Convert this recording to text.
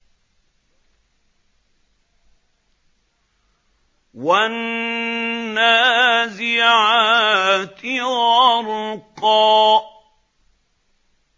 وَالنَّازِعَاتِ غَرْقًا